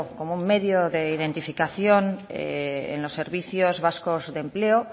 como un medio de identificación en los servicios vascos de empleo